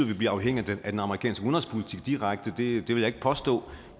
vi bliver afhængige af den amerikanske udenrigspolitik direkte vil jeg ikke påstå